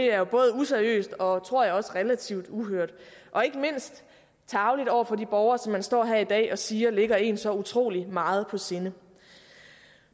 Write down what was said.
er jo både useriøst og tror jeg også relativt uhørt og ikke mindst tarveligt over for de borgere som man står her i dag og siger ligger en så utrolig meget på sinde